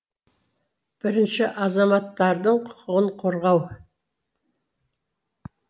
бірінші азаматтардың құқығын қорғау